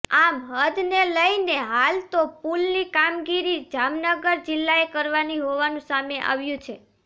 આમ હદને લઇને હાલ તો પુલની કામગીરી જામનગર જિલ્લાએ કરવાની હોવાનું સામે આવ્યું છે